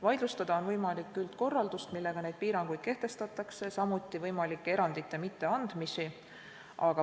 Vaidlustada on võimalik üldkorraldust, millega neid piiranguid kehtestatakse, samuti võimalike erandite mitteandmist.